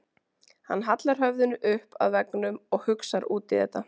Hann hallar höfðinu upp að veggnum og hugsar út í þetta.